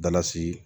Dalasi